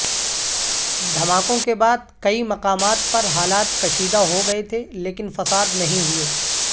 دھماکوں کے بعد کئی مقامات پر حالات کشیدہ ہوگئے تھے لیکن فساد نہیں ہوئے